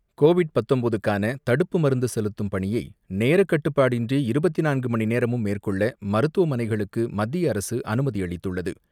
Covid பத்தொன்பதுக்கான தடுப்பு மருந்துசெலுத்தும் பணியை நேர கட்டுபாடின்றி இருபத்து நான்கு மணிநேரமும் மேற்கொள்ள மருத்துவமனைகளுக்கு மத்திய அரசு அனுமதிஅளித்துள்ளது.